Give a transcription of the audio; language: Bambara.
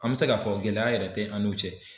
An mɛ se k'a fɔ gɛlɛya yɛrɛ tɛ an n'u cɛ.